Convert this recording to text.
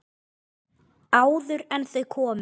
Áður en þau komu.